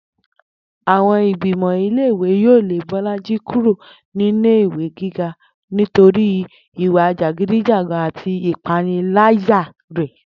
Àwo̩n ìgbìmò̩ ilé ìwé yóò lé Bó̩lájí kúrò nílé ìwé gíga nítorí ìwà jàgídíjàgan àti ìpániláyà rè̩